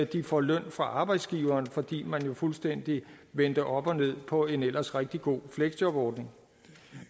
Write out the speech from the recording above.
de får løn fra arbejdsgiveren fordi man fuldstændig vendte op og ned på en ellers rigtig god fleksjobordning